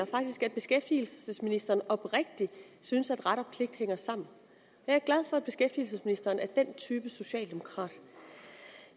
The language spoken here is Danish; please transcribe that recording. faktisk at beskæftigelsesministeren oprigtigt synes at ret og pligt hænger sammen jeg er glad for at beskæftigelsesministeren er den type socialdemokrat